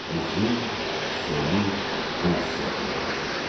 Uzun, soyuq qış yaxınlaşırdı.